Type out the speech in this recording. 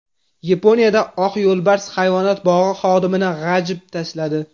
Yaponiyada oq yo‘lbars hayvonot bog‘i xodimini g‘ajib tashladi.